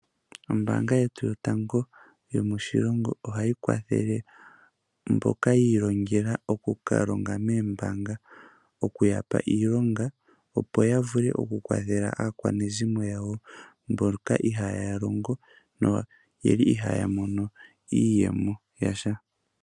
Ombaanga yetu yotango yomoshilongo ohayi kwathele mboka yi ilongele oku kalonga moombanga okuyapa iilonga opo yavule oku kwathela aakwanezimo yawo mboka ihaya longo noyeli ihaya mono iiyemo yasha.